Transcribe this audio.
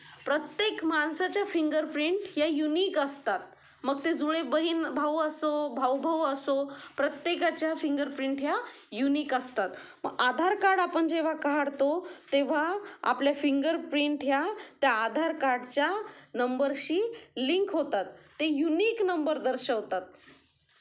प्रत्येक माणसाच्या fingerprint या युनिक असतात मग ते जुळे बहीण भाऊ असो भाऊ भाऊ असो प्रत्येकाचा फिंगर प्रिंट ह्या युनिक असतात, आधार कार्ड आपण जेव्हा काढतो तेव्हा आपले फिंगर प्रिंट ह्या त्या आधार कार्ड च्या नंबर शी लिंक होतात ते युनिक नंबर दर्शवतात.